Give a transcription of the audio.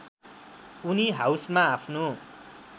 उनी हाउसमा आफ्नो